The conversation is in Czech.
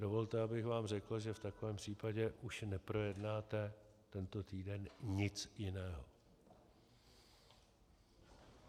Dovolte, abych vám řekl, že v takovém případě už neprojednáte tento týden nic jiného.